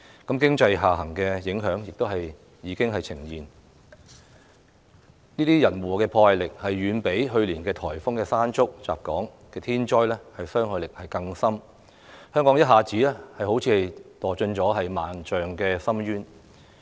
經濟下行的影響已經呈現，這些人禍的破壞力，遠較去年颱風"山竹"襲港的天災傷害更深，香港仿如一下子墮進萬丈深淵。